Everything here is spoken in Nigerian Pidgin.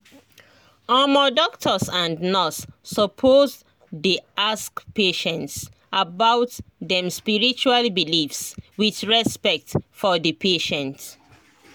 omo doctors and nurse suppose dey ask patients about them spiritual beliefs with respect for the patient